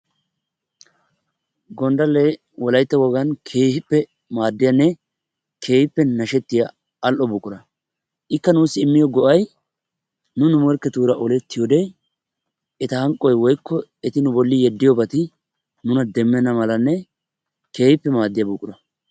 Gonddallee wolayttan keehippe maaddiyanne keehippe nashettiya al"o buqura. Ikka nuussi immiyo go"ay nu nu morkketuura olettiyode eta hanqqoy woykko eti nu bolli yeddiyobati nuna demmenna malanne keehippe maaddiya buqura.